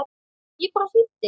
Ég bara hlýddi!